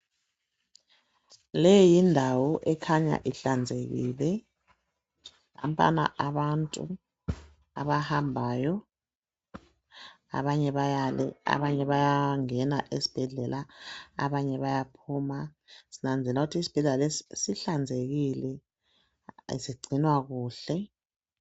Leyi yindawo ekhanya ihlanzekile. Nampana abantu abahambayo, abanye bayale, abanye bayangena esibhedlela ,abanye bayaphuma. Sinanzelela ukuthi isibhedlela lesi sihlanzekile sigcinwa kuhle.